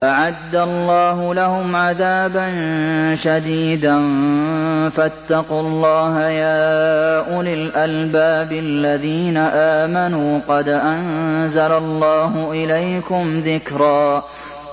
أَعَدَّ اللَّهُ لَهُمْ عَذَابًا شَدِيدًا ۖ فَاتَّقُوا اللَّهَ يَا أُولِي الْأَلْبَابِ الَّذِينَ آمَنُوا ۚ قَدْ أَنزَلَ اللَّهُ إِلَيْكُمْ ذِكْرًا